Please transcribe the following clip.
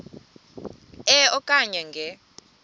e okanye nge